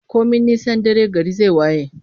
Komi nisan dare, gari zai waye.